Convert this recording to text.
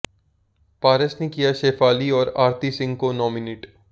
पारस ने किया शेफाली और आरती सिंह को नॉमिनेट